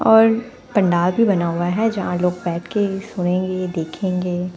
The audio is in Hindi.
और पंडाल भी बना हुआ है जहाँ लोग बैठ के सुनेंगे देखेंगे--